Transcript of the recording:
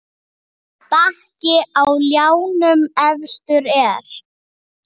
Bakki á ljánum efstur er.